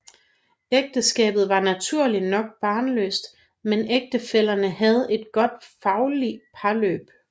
Ægteskabet var naturligt nok barnløst men ægtefællerne var havde et godt faglig parløb